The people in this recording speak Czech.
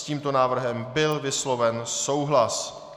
S tímto návrhem byl vysloven souhlas.